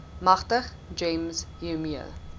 magtig gems hiermee